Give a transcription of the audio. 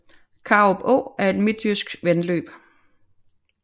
Karup Å er et midtjysk vandløb